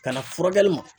Kana furakɛli ma